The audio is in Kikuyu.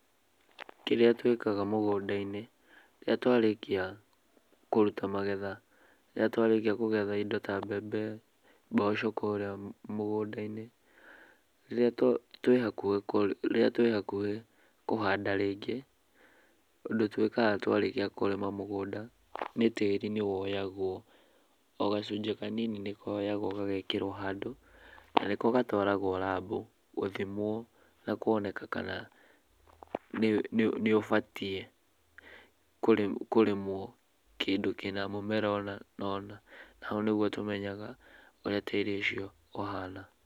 Kĩrĩa twĩkaga mũgũnda-inĩ, rĩrĩa twarĩkia kũruta magetha, rĩrĩa twarĩkia kũgetha indo ta mbembe, mboco kũrĩa mũgũnda-inĩ. Rĩrĩa twĩ hakuhĩ kũ, rĩrĩa twĩ hakuhĩ kũhanda rĩngĩ, ũndũ twĩkaga twarĩkia kũrĩma mũgũnda, nĩ tĩri nĩwoyagwo. O gacunjĩ kanini nĩkoyagwo gagekĩrwo handũ, na nĩko gatwaragwo rabu gũthimwo, na kuoneaka kana nĩũbatiĩ kũrĩmwo kĩndũ kĩna mũmera ũna na ũna. Na hau nĩguo tũmenyaga ũrĩa tĩri ũcio ũhana.